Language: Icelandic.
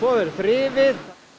verður þrifið